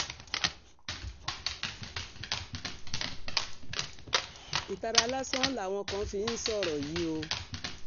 ìtara lásán làwọn kan fi ń sọ̀rọ̀ yìí o